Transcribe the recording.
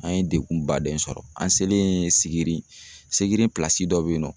An ye dekun baden sɔrɔ. An selen Sigiri, Sigiri dɔ be yen nɔ